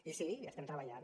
i sí hi estem treballant